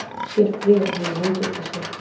Sér bréfahnífinn út undan sér.